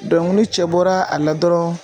Dɔnku nin cɛ bɔra a la dɔrɔn